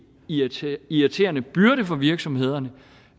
irriterende irriterende byrde for virksomhederne